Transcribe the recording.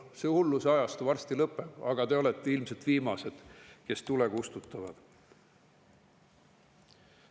See hulluse ajastu varsti lõpeb, aga te olete ilmselt viimased, kes tule kustutavad.